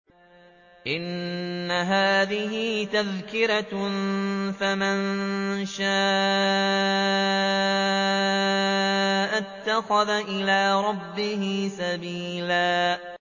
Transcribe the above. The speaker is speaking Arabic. إِنَّ هَٰذِهِ تَذْكِرَةٌ ۖ فَمَن شَاءَ اتَّخَذَ إِلَىٰ رَبِّهِ سَبِيلًا